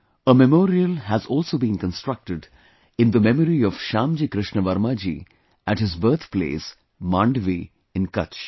A memorial has also been constructed in the memory of Shyamji Krishna Varma ji at his birth place, Mandvi in Kutch